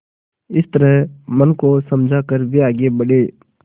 इस तरह मन को समझा कर वे आगे बढ़े